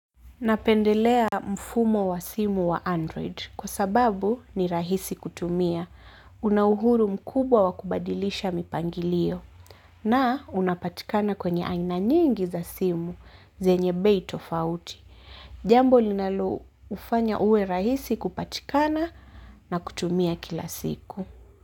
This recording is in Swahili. Napendelea mfumo wa simu wa Android. Kwa sababu ni rahisi kutumia. Unauhuru mkubwa wa kubadilisha mipangilio. Na unapatikana kwenye aina nyingi za simu. Zenye bei tofaut. Jambo linaloufanya uwe rahisi kupatikana na kutumia kila siku.